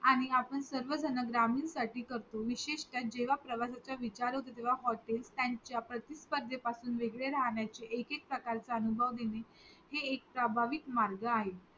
आणि आपण सर्वजण ग्रामीण साठी करतो विशेष तर जेव्हा प्रवाशांचा विचार होतो तेव्हा हॉटेल त्यांच्या प्रति स्पर्धे पासून वेगळे राहण्याची एक एक प्रकार चा अनुभव हे एक प्रभावी आहे मार्ग आहे